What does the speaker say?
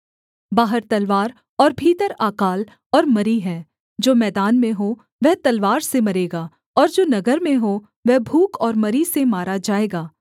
बाहर तलवार और भीतर अकाल और मरी हैं जो मैदान में हो वह तलवार से मरेगा और जो नगर में हो वह भूख और मरी से मारा जाएगा